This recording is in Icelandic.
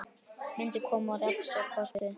Myndin kom Rex á kortið.